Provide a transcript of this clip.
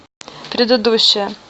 предыдущая